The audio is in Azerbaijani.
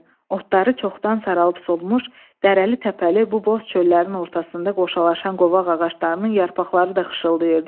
Otları çoxdan saralıb solmuş, dərəli təpəli bu boz çöllərin ortasında qoşalaşan qovaq ağaclarının yarpaqları da xışıltayırdı.